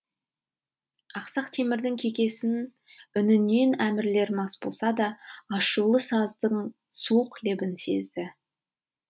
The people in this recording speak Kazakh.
ақсақ темірдің кекесін үнінен әмірлер мас болса да ашулы саздың суық лебін сезді